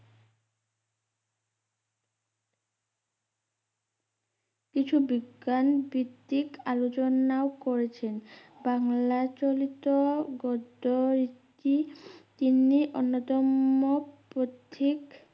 কিছু বিজ্ঞান ভিত্তিক আলোচনাও করেছেন বাংলা চলিত গদ্য ইতি তিনি অন্যতম পথিক